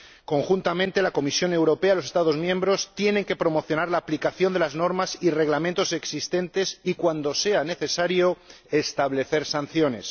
Conjuntamente, la Comisión Europea y los Estados miembros tienen que promocionar la aplicación de las normas y reglamentos existentes y, cuando sea necesario, establecer sanciones.